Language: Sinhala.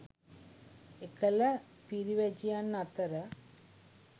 එකල පිරිවැජියන් අතර